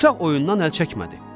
Uşaq oyundan əl çəkmədi.